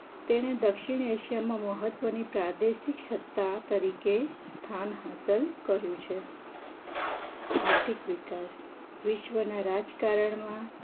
તેણે દક્ષિણેશ્વરમાં મહત્વની પ્રાદેશિક સત્તા તરીકે સ્થાન હસ્તલ કર્યું છે આર્થિક વિકાસ વિશ્વના રાજકારણમાં